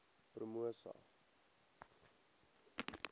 promosa